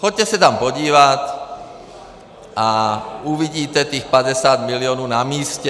Jděte se tam podívat a uvidíte těch 50 milionů na místě.